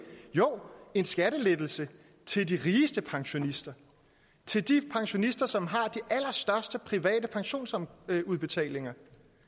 jo en skattelettelse til de rigeste pensionister til de pensionister som har de allerstørste private pensionsudbetalinger